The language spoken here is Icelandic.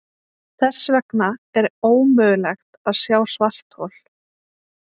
Þess vegna er ómögulegt að sjá svarthol.